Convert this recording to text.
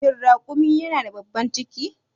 Shin raƙumi yana da babban ciki?